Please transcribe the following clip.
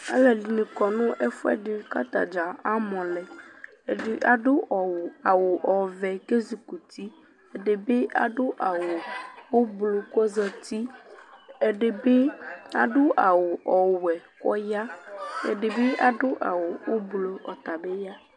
Alʋɛdɩnɩ kɔ nʋ ɛfʋɛdɩ kʋ ata dza amɔ lɛ Ɛdɩ adʋ ɔw awʋ ɔvɛ kʋ ezikuti Ɛdɩ bɩ adʋ awʋ ʋblʋ kʋ ɔzati Ɛdɩ bɩ adʋ awʋ ɔwɛ kʋ ɔya Ɛdɩ bɩ adʋ awʋ ʋblʋ, ɔta bɩ ya